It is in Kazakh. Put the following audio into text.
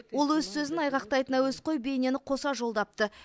ол өз сөзін айғақтайтын әуесқой бейнені қоса жолдапты